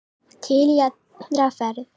Til í aðra ferð.